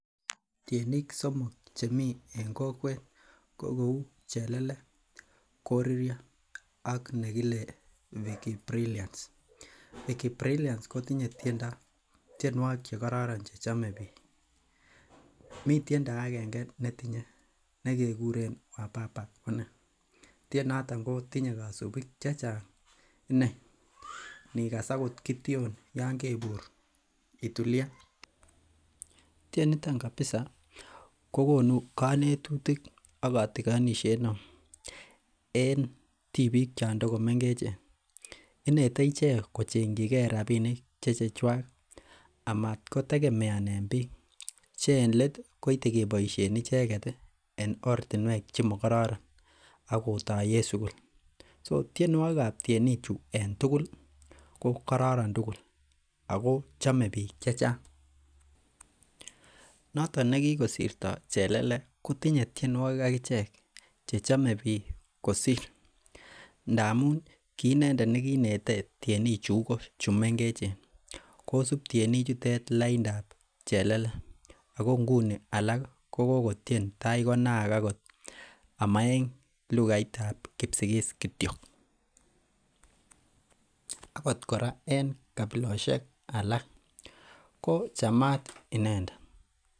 Tienik somoku chemi en kokwet ko cheuu chelele, koririo ak ne kile Vickybrilliance. Vickybrilliance kotinye tienuokik che kororon che chame bik. Mi tiendo aenge ne tinye nekikuren wababa konee tienotonn kotinye kosubik chechang inei inigas akot kition Yoon kebur itulian. Tieniton kabisa ko konu konetisiet ak kotikonet neo en tibik choon en tibik chon tokomengechen. Inetei ichek kocheng robinik che chechuak amat ko tegemeanen bik che elet koite keboisien icheket en ortinuek chemo kororon akotoyen sukul. so tienuokik kab tienik chu en tugul ko kororon tugul Ako chome bik chechang noto neki kosirto chelele kotinye tienuokik akichek che chome bik kosir. Ndamun ki inendet ne kiinete tienik chuigo che mengechen kosub tienik chuton laindab chelele Ako nguni alak ko kokotien itai konaak amen lukaitab kipsigis kiyo akot kora en kabilosiek alak ko chamat inendet.